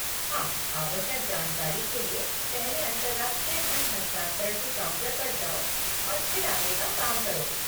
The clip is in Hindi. हाँ आवश्यक जानकारी के लिए पहले अंतर्राष्ट्रीय धन हस्तांतरण के काउंटर पर जाओ और फिर आगे का काम करो।